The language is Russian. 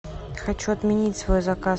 хочу отменить свой заказ